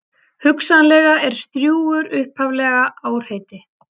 Hugsanlega er Strjúgur upphaflega árheiti.